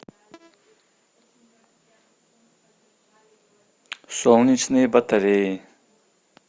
солнечные батареи